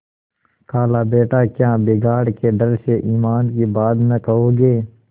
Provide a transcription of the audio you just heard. खालाबेटा क्या बिगाड़ के डर से ईमान की बात न कहोगे